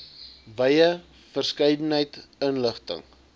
wye verskeidenheid inligting